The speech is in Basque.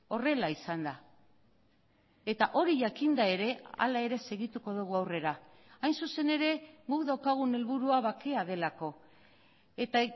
horrela izan da eta hori jakinda ere hala ere segituko dugu aurrera hain zuzen ere guk daukagun helburua bakea delako eta